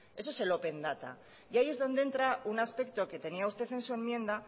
eso es el open data y ahí es donde entra un aspecto que tenía usted en su enmienda